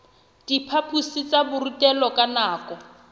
diphaphosing tsa borutelo ka nako